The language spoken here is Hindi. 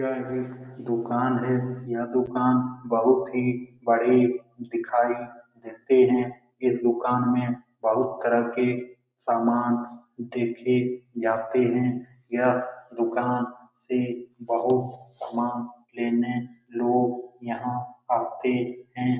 यह एक दुकान है यह दुकान बहुत ही बड़ी दिखाई देती है इस दुकान में बहुत तरह के समान देखे जाते हैं यह दुकान से बहुत समान लेने लोग यहाँ आते हैं।